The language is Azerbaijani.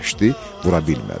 vura bilmədi.